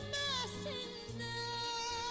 Nəğməsinə də.